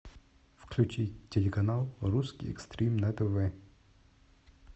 включи телеканал русский экстрим на тв